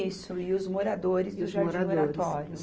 Isso, e os moradores do jardim Oratório.